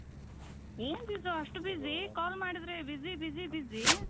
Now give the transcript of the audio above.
ಏನ್ ರಿತು ಅಷ್ಟ್ busy call ಮಾಡಿದ್ರೆ busy busy busy